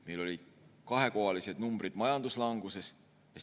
Meil oli majanduslangus kahekohalistes numbrites.